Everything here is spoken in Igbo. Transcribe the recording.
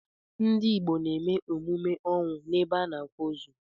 Ndị Igbo n'eme emume ọnwụ n'ebe a n'akwa ozu.